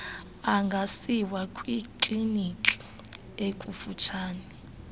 angasiwa kwikliniki ekufutshane